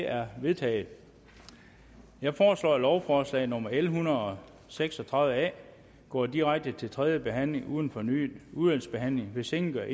er vedtaget jeg foreslår at lovforslag nummer l en hundrede og seks og tredive a går direkte til tredje behandling uden fornyet udvalgsbehandling hvis ingen gør